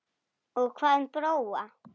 Og hvað um Bróa?